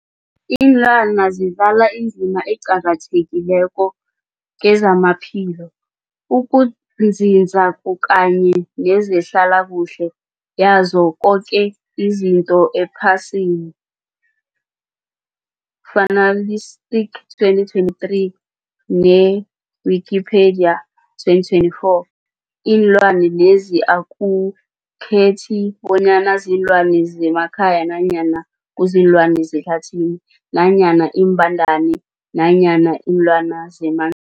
Ilwana zidlala indima eqakathekileko kezamaphilo, ukunzinza kanye nezehlala kuhle yazo zoke izinto ephasini, Fuanalytics 2023, ne-Wikipedia 2024. Iinlwana lezi akukhethi bonyana ziinlwana zemakhaya nanyana kuziinlwana zehlathini nanyana iimbandana nanyana iinlwana zeman